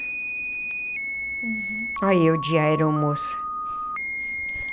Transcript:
Ai eu de aeromoça.